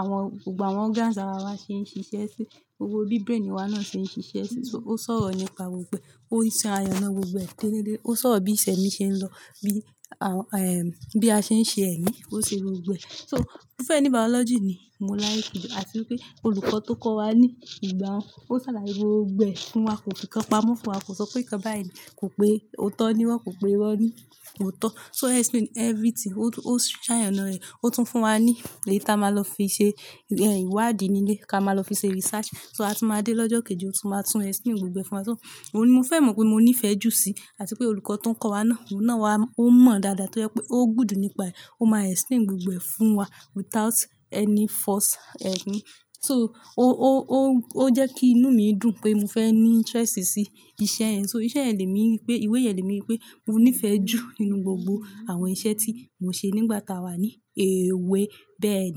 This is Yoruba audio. àwọn, gbogbo àwọn organs ara wa ṣe ń ṣiṣẹ́ sí, gbogbo bí brain wa náà ṣe ń ṣiṣẹ́ sí. So ó sọ̀rọ̀ nípa gbogbo e, ó se àyàn náà gbogbo ẹ̀ tẹ́létẹ́lẹ́. Ó sọro bí isẹ́ mi ṣe ń lọ, bí, à, ẹ́, bí a ṣe ń ṣe ẹ̀mí, ó ṣe gbogbo ẹ̀. So mo fẹ́ ní Biology ni mo like jù. Àti pé olùkọ́ tó kọ́ wa ní ìgbà un, ó ṣàlàyé gbogbo ẹ̀ fún wa. Kò fikan pamọ́ fún wa, kò sọ pé nǹkan báyìí kò pé ó tọ́ ní, wọ́n kò pé wọ́n ní ò tọ́. So explain everything, ó se àyàn náà rẹ̀, ó tún fún wa ní eyi tá a máa lọ fi ṣe ìwádìí nílé, ká máa lọ fi ṣe research. So àti máa dé lọ́jọ́ kejì, ó tún máa tún explain gbogbo ẹ̀ fún wa. So òun ni mo fẹ́ mọ̀ pé mo nífẹ̀ẹ́ jù sí. Àti pé olùkọ́ tó ń kọ́ wa náà, òun náà wa, ó mọ̀ dáadáa tó jẹ́ pé ó good nípa ẹ, ó máa explain gbogbo ẹ̀ fún wa without any false ẹ́gún. So ó, ó, ó, ó jẹ́ kí inú mi dùn pé mo fẹ́ ní interest sí iṣẹ́ ẹ̀. So iṣẹ́ ẹ̀ lè mi ri pé, ìwé yẹ̀n lè mi ri pé mo nífẹ̀ẹ́ jù nínú gbogbo àwọn iṣẹ́ tí mo ṣe nígbà táa wà ní èwe bẹ́ẹ̀ ni.